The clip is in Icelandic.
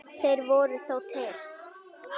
Þeir voru þó til.